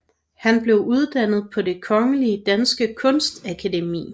Han blev uddannet på Det Kongelige Danske Kunstakademi